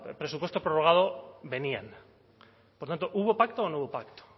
presupuesto prorrogado venían por tanto hubo pacto o no hubo pacto